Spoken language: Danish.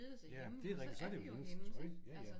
Ja det rigtigt så det jo hendes tøj ja ja